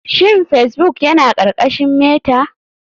Shin facebbok yana ƙarƙashin meta?